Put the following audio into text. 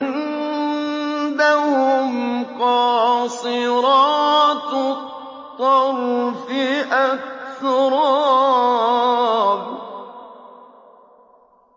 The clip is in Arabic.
۞ وَعِندَهُمْ قَاصِرَاتُ الطَّرْفِ أَتْرَابٌ